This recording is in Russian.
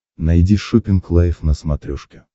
найди шоппинг лайв на смотрешке